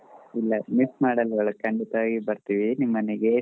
ಇಲ್ಲಾ miss ಮಡೋದಿಲ್ಲಾ ಖಂಡಿತಾ ಬರ್ತೇವೆ ನಿಮ್ ಮನೆಗೆ.